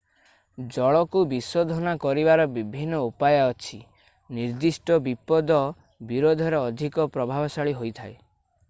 ଜଳକୁ ବିଶୋଧନ କରିବାର ବିଭିନ୍ନ ଉପାୟ ଅଛି ନିର୍ଦ୍ଦିଷ୍ଟ ବିପଦ ବିୋରଧରେ ଅଧିକ ପ୍ରଭାବଶାଳୀ ହୋଇଥାଏ